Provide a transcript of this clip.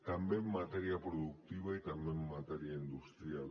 també en matèria productiva i també en matèria industrial